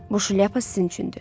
Buşlyapa sizincündür.